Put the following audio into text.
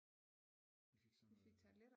Vi fik sådan noget